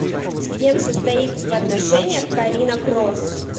с кем состоит в отношениях карина кросс